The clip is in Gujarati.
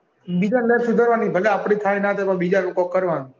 બીજાની life સુધારવાની ભલે આપડી થાય ના થાય પણ બીજાનું કોક કરવાનું.